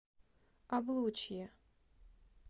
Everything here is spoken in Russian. облучье